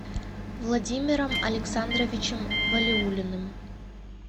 владимиром александровичем валиуллиным